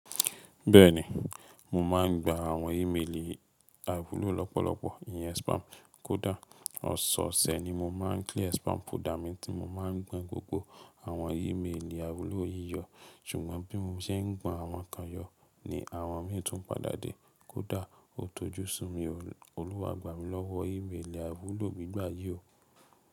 Bẹ́ẹ̀ni, mo máà ń gba àwọn ímeèlì àìwúlò lọ́pọ̀lọpọ̀, ìyẹn spam. Kódà ọ̀sọ̀ọ̀sẹ̀ ni mo máa ń clear spam folder mi tí mo máà ń gbọn gbogbo àwọn ímeèlì àìwúlò yíyọ. Ṣùgbọ́n bí mo ṣe ń gbọn àwọn kan yọ ni àwọn mí tún padà dé, kódà ó tójú sími olùwàgbà mí lọ́wọ́ ímeèlì àìwúlò gbígbà yí o.